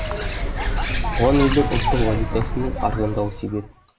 бұған елдің ұлттық валютасының арзандауы себеп